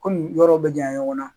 Komi yɔrɔw bɛ janya ɲɔgɔn na.